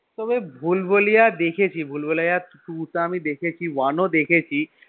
তবে ভুলভুলাইয়া দেখেছি ভুলভুলাইয়া two টা আমি দেখেছি one ও দেখেছি